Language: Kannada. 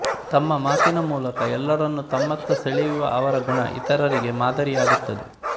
ತಮ್ಮ ಮಾತಿನ ಮೂಲಕ ಎಲ್ಲರನ್ನು ತಮ್ಮತ್ತ ಸೆಳೆಯುವ ಅವರ ಗುಣ ಇತರರಿಗೆ ಮಾದರಿಯಾಗುತ್ತದೆ